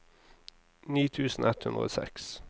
ni tusen ett hundre og seks